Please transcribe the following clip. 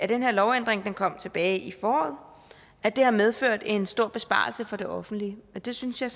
den her lovændring den kom tilbage i foråret at den har medført en stor besparelse for det offentlige og det synes jeg